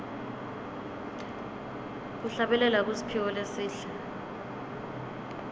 kuhlabelela kusiphiwo lesihle